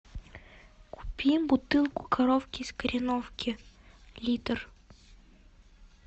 купи бутылку коровки из кореновки литр